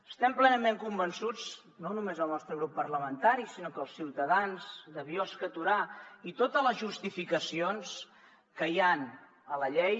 estem plenament convençuts no només el nostre grup parlamentari sinó que els ciutadans de biosca i torà i totes les justificacions que hi han a la llei